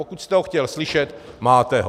Pokud jste ho chtěl slyšet, máte ho.